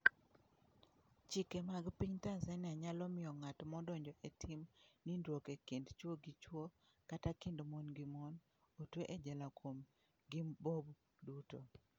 Chike mag piny Tanzania nyalo miyo ng'at madonjo e tim nindruok e kind chwo gi chwo kata e kind mon gi mon, otwe e jela kuom ngiBob duto.